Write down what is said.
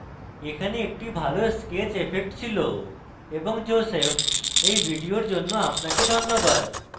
এখানে একটি ভালো sketch effect ছিল এবং joseph এই video জন্য আপনাকে ধন্যবাদ